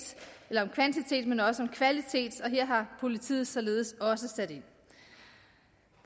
men også om kvalitet og her har politiet således også sat ind